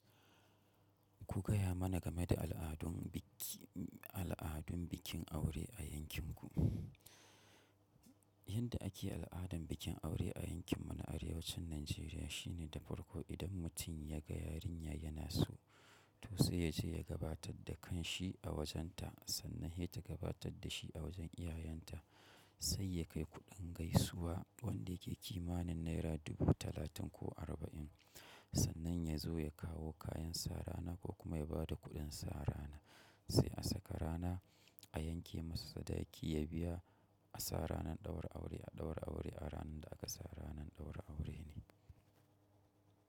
Ku gaya mana game da al'adun bikin aure a yankinku. Yanda ake al'adan bikin aure a yankin mu na Arewacin Najeriya shine da farko idan mutum ya ga yarinya yana so, to sai ya je ya gabatar da kan shi a wajen ta sannan ita ta gabatar da shi a wajen iyayen ta. Sai yakai kudin gaisuwa wanda yake kimanin naira dubu talatin koh arbain sannan yazo yakawo kayan sa rana koh kuma yabada kudin sa rana sai asaka rana a yanke masa sadaki ya biya a sara ranan ɗaura aure a ɗaura aure a ranan da aka sara ranan ɗaura aure ne.